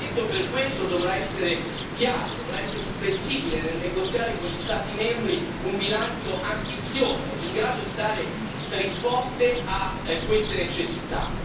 Il Parlamento per questo dovrà essere chiaro, dovrà essere inflessibile nel negoziare con gli Stati membri un bilancio ambizioso, in grado di dare risposte a queste necessità.